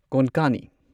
ꯀꯣꯟꯀꯥꯅꯤ